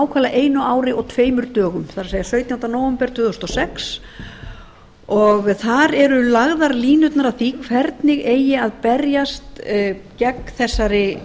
einu ári og tveimur dögum það er sautjándi nóvember tvö þúsund og sex og þar eru lagðar línurnar að því hvernig eigi að berjast gegn þessari